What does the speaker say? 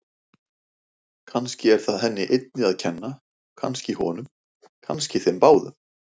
Kannski er það henni einni að kenna, kannski honum, kannski þeim báðum.